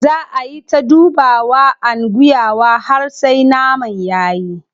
Zaa ayi ta dubawa and guyawa har sai naman yayi.